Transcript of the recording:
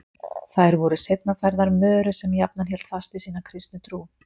Þær voru seinna færðar Möru sem jafnan hélt fast við sína kristnu trú.